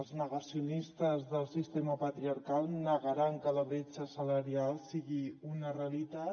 els negacionistes del sistema patriarcal negaran que la bretxa salarial sigui una realitat